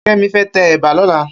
Kemi fè tè èbà lòlá